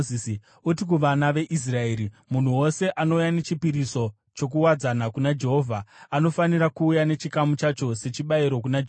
“Uti kuvana veIsraeri, ‘Munhu wose anouya nechipiriso chokuwadzana kuna Jehovha anofanira kuuya nechikamu chacho sechibayiro kuna Jehovha.